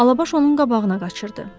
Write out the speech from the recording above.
Alabaş onun qabağına qaçırdı.